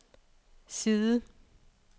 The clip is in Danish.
side